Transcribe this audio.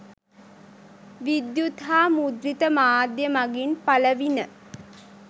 විද්‍යුත් හා මුද්‍රිත මාධ්‍යය මගින් පළවිණ.